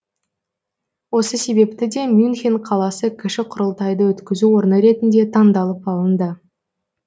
осы себепті де мюнхен қаласы кіші құрылтайды өткізу орны ретінде таңдалып алынды